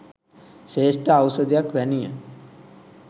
ශ්‍රේෂ්ඨ ඖෂධයක් වැනිය.